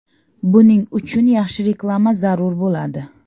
Buning uchun yaxshi reklama zarur bo‘ladi.